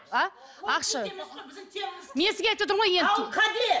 а мен сізге айтыватырмын ғой енді